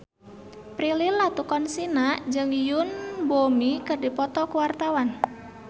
Prilly Latuconsina jeung Yoon Bomi keur dipoto ku wartawan